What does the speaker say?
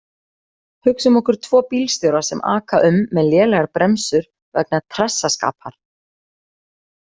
Hugsum okkur tvo bílstjóra sem aka um með lélegar bremsur vegna trassaskapar.